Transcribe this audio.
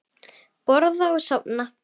Borða og sofa.